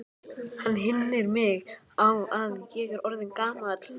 Hann minnir mig á, að ég er orðinn gamall.